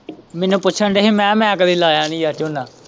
ਮੈਨੂੰ ਪੁੱਛਣ ਦਏ ਹੀ ਮੈਂ ਕਿਹਾ ਮੈਂ ਕਦੇ ਲਾਇਆ ਨੀ ਯਾਰ ਝੋਨਾ।